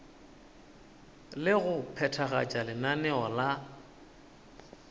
le go phethagatša lenaneo la